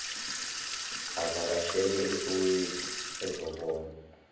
avakashele esoweto ezobona